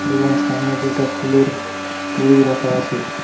এবং সামনে দুটা ফুলের তরী রাখা আছে।